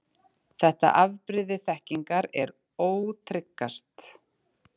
Þetta afbrigði þekkingar er ótryggast.